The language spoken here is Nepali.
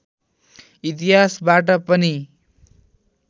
इतिहासबाट पनि